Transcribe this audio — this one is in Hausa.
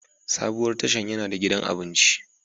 Sabuwar tashan yana da gidan abinci.